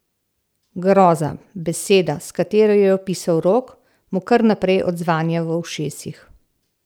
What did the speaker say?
Groza, beseda, s katero jo je opisal Rok, mu kar naprej odzvanja v ušesih.